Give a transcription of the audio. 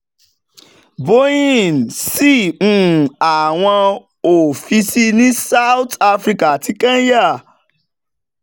boeing ṣí um àwọn ọ́fíìsì ní south africa àti kenya